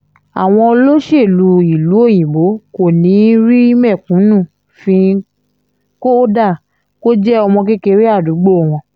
àwọn olóṣèlú ìlú òyìnbó kò ní í rí mẹ̀kúnnú fín kódà kó jẹ́ ọmọ kékeré àdúgbò wọn